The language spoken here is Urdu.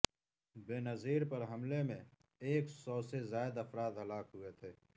بینظیر پر حملے میں ایک سو سے زائد افراد ہلاک ہوئے تھے